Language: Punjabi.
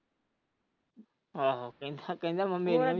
ਆਹੋ।